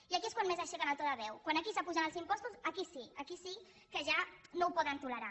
i aquí és quan més aixequen el to de veu quan aquí s’apugen els impostos aquí sí aquí sí que ja no ho poden tolerar